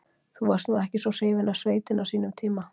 Þú varst nú ekki svo hrifinn af sveitinni á sínum tíma.